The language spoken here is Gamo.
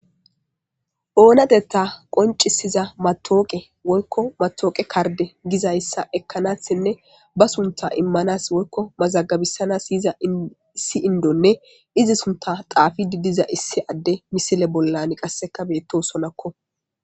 Oonatetta qoncisiza matooqe woykko matooqe kardde gizayssa ekkanassinne ba sunta immanaas woykko mazaggabisanas iyiza issi indonne izi sunta xaafidi diza issi adde misile bollan qasseka beettosonakko.